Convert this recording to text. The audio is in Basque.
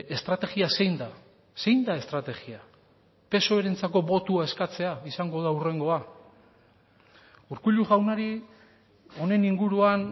estrategia zein da zein da estrategia psoerentzako botoa eskatzea izango da hurrengoa urkullu jaunari honen inguruan